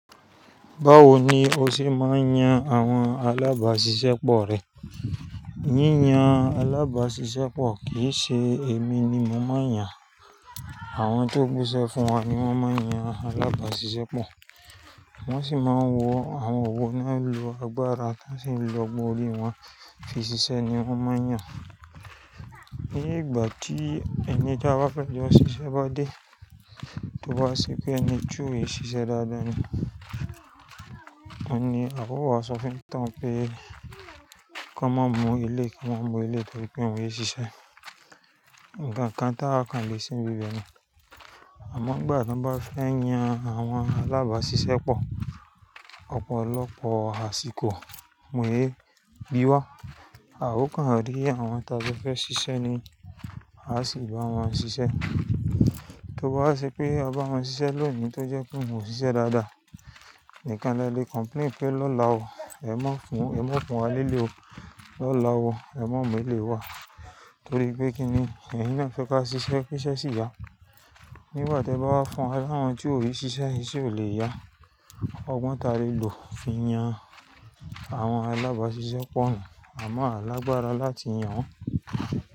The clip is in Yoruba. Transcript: Báwo ni o ṣe máa ń yan àwọn alábàáṣiṣẹ́ pọ̀ rẹ? Yíyan alábáàṣìṣẹ́ pọ̀ kì í ṣe èmi ni mo máa ń yan. Àwọn tó búṣé fún wa ni wọ́n máa ń yan alábáàṣiṣẹ́ pọ̀. Wọ́n sì máa ń wo àwọn wò náà n lo agbára tán sì lọ ogbòn orí wọ́n fí ṣiṣẹ́ ni wọ́n máa ń yàn. Ní ìgbà tí ẹni tí a bá fẹ́ yan ṣi ibi ṣẹ́ bá dé, tó bá ṣe pé ẹni túre ṣiṣẹ́ dáadáa ni. Ohun ní àwa ó wá sọ fún onitán pé kọ́ n máa mú eléyìí, kí wọ́n mú eléyìí torí pé wọ́n lè ṣiṣẹ́. Ǹnkan kan tá a kan lè ṣe n bíbi ni. Àmọ́ ngbà tí wọ́n bá fẹ́ yan àwọn alábáàṣiṣẹ́ pọ̀, ọ̀pọ̀lọpọ̀ àsìkò mo yẹ bí wá. Àwa o kan díẹ̀ àwọn ta bá fẹ́ ṣiṣẹ́ ni a sì bá wọn ṣiṣẹ́. Tó bá wa ṣe pé aba wọn ṣiṣẹ́ lónìí tó jẹ́ pé wọ́n ṣiṣẹ́ dáadáa, nìkan lè lè complain pé lọ́la o, ẹ má fún, ẹ má fún wa lé lé o. Lọ́la o, ẹ má mú ilé wá. Torí pé kí ni, ẹ̀yin náà fẹ́ ká ṣiṣẹ́, kiṣẹ́ sì ya. Nígbà tí ẹ bá wá fún wa ní àwọn tí ò lè ṣiṣẹ́ yẹn iṣẹ́ ò lè yá. Ọgbọ́n ta rí lò fi yan àwọn alábáàṣiṣẹ́ pọ̀ náà. Àmọ́ á lágbára láti yan.